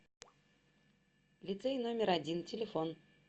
лицей номер один телефон